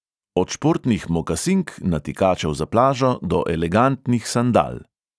Od športnih mokasink, natikačev za plažo do elegantnih sandal.